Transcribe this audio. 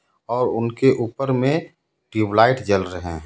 और उनके ऊपर में ट्यूबलाइट जल रहे हैं.